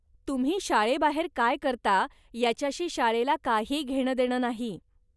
तुम्ही शाळेबाहेर काय करता याच्याशी शाळेला काही घेणं देणं नाही.